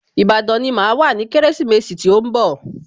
Ìbàdàn ni màá wà ní Kérésìmesì tí ó ń bọ̀